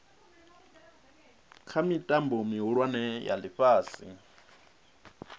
kha mitambo mihulwane ya ifhasi